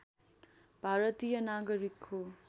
भारतीय नागरिक हो